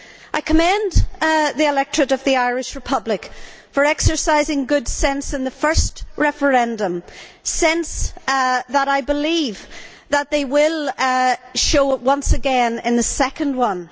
I commend the electorate of the Irish Republic for exercising good sense in the first referendum, sense that I believe that they will show once again in the second one.